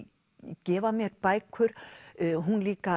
gefa mér bækur hún líka